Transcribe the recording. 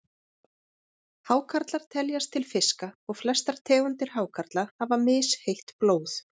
Hákarlar teljast til fiska og flestar tegundir hákarla hafa misheitt blóð.